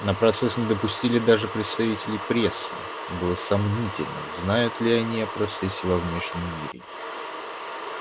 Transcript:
на процесс не допустили даже представителей прессы и было сомнительно знают ли о процессе во внешнем мире